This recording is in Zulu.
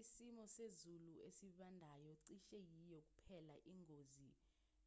isimo sezulu esibandayo cishe yiyo kuphela ingozi